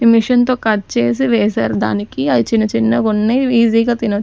Machine తో cut చేసి వేసారు దానికి అవి చిన్న చిన్నగా వున్నయ్ ఈజీగా తినొచ్చు.